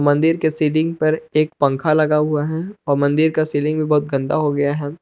मंदिर के सीलिंग पर एक पंख लगा हुआ है और मंदिर का सीलिंग भी बहुत गंदा हो गया है।